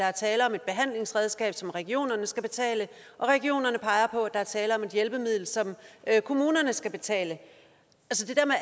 er tale om et behandlingsredskab som regionerne skal betale og at regionerne peger på at der er tale om et hjælpemiddel som kommunerne skal betale